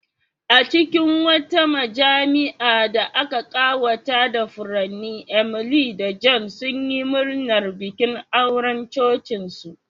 A cikin wata majami'a da aka ƙawata da furanni, Emily da John sunyi murnar bikin auren cocinsu.